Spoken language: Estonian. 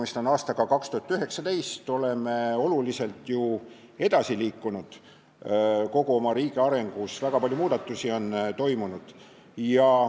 Praegu on aasta 2019, me oleme ju oma riigi arengus oluliselt edasi liikunud, väga palju muudatusi on toimunud.